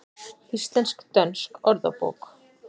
Íslensk-dönsk orðabók.